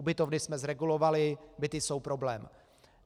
Ubytovny jsme zregulovali, byty jsou problém.